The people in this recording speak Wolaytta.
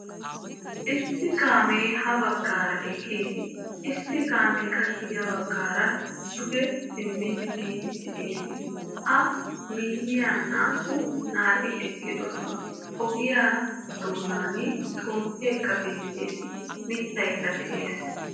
Issi kaamee ha baggaara eqqiis, issi kaamee qassi ya baggaara duge simmidi biidi de'ees. A miyiya naa"u naati eqqidosona. Ogiya doonaan xomppekka bettees, mitaykka de'ees.